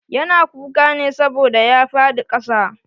Ya na kuka ne saboda ya faɗi ƙasa.